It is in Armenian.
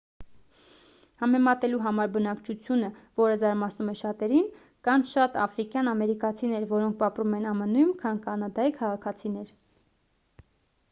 համեմատելու համար բնակչությունը որը զարմացնում է շատերին կան շատ աֆրիկյան ամերիկացիներ որոնք ապրում են ամն-ում քան կանադայի քաղաքացիներ